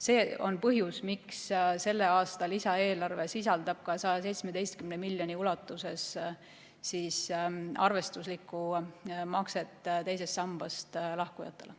See on põhjus, miks selle aasta lisaeelarve sisaldab 117 miljoni euro ulatuses arvestuslikku makset teisest sambast lahkujatele.